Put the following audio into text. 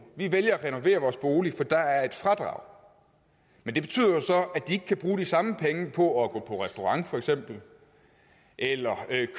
vi vælger at renovere vores bolig for der er et fradrag men det betyder jo så at de ikke kan bruge de samme penge på at gå på restaurant for eksempel eller